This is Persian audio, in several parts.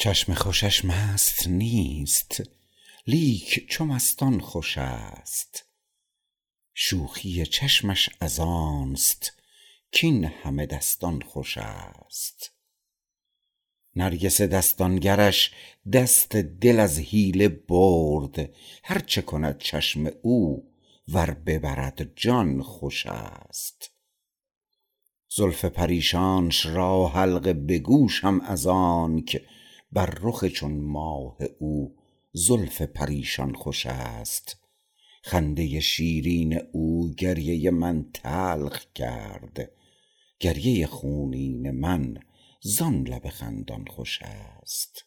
چشم خوشش مست نیست لیک چو مستان خوش است خوشی چشمش از آنست کین همه دستان خوش است نرگس دستان گرش دست دل از حیله برد هرچه کند چشم او ور ببرد جان خوش است زلف پریشانش را حلقه به گوشم از آنک بر رخ چون ماه او زلف پریشان خوش است خنده شیرین او گریه من تلخ کرد گریه خونین من زان لب خندان خوش است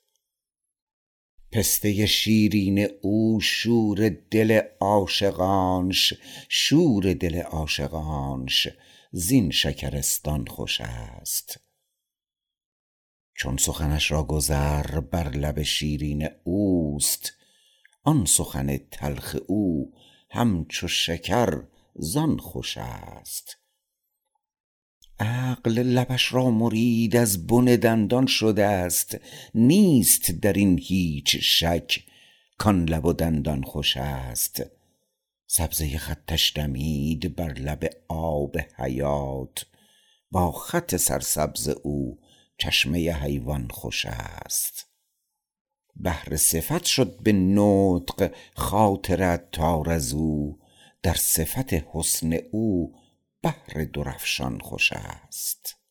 پسته شیرین او شور دل عاشقانش شور دل عاشقانش زین شکرستان خوش است چون سخنش را گذر بر لب شیرین اوست آن سخن تلخ او همچو شکر زان خوش است عقل لبش را مرید از بن دندان شده است نیست درین هیچ شک کان لب و دندان خوش است سبزه خطش دمید بر لب آب حیات با خط سرسبز او چشمه حیوان خوش است بحر صفت شد به نطق خاطر عطار ازو در صفت حسن او بحر درافشان خوش است